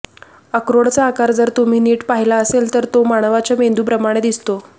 अक्रोडचा आकार जर तुम्ही नीट पाहिला असेल तर तो मानवाच्या मेंदूप्रमाणे दिसतो